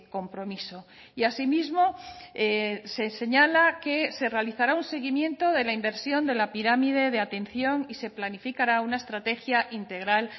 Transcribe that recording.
compromiso y así mismo se señala que se realizará un seguimiento de la inversión de la pirámide de atención y se planificará una estrategia integral